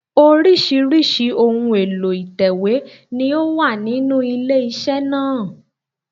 Oríṣìíríṣìí ohun èlò ìtẹ̀wé ni ó wà nínú ilé iṣẹ́ náà